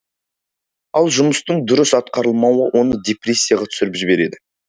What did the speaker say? ал жұмыстың дұрыс атқарылмауы оны депрессияға түсіріп жібереді